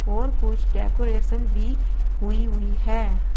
और कुछ डेकोरेशन भी हुई हुई हैं।